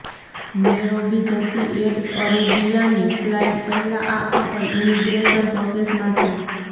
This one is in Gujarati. નેરોબી જતી એર અરેબિયાની ફ્લાઈટ પહેલા આ કપલ ઈમિગ્રેશન પ્રોસેસમાંથી